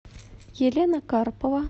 елена карпова